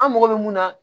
An mago bɛ mun na